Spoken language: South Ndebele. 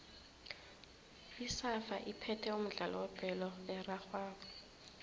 isafa iphethe umdlalo webholo erarhwako